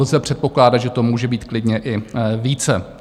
Lze předpokládat, že to může být klidně i více.